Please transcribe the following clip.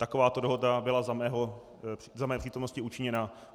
Takováto dohoda byla za mé přítomnosti učiněna.